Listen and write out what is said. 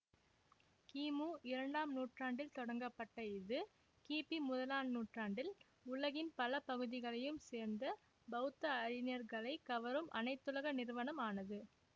கிமு இரண்டாம் நூற்றாண்டில் தொடங்கப்பட்ட இது கிபி முதலாம் நூற்றாண்டில் உலகின் பல பகுதிகளையும் சேர்ந்த பௌத்த அறிஞர்களைக் கவரும் அனைத்துலக நிறுவனம் ஆனது